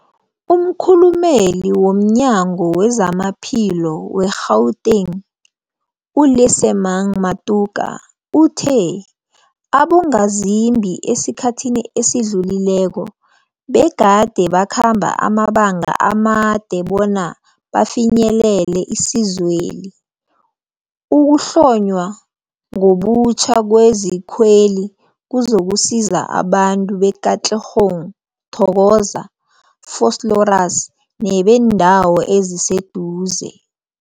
Umkhulumeli womNyango weZamaphilo we-Gauteng, u-Lesemang Matuka uthe abongazimbi esikhathini esidlulileko begade bakhamba amabanga amade bona bafinyelele isizweli. Ukuhlonywa ngobutjha kwezikweli kuzokusiza abantu be-Katlehong, Thokoza, Vosloorus nebeendawo eziseduze.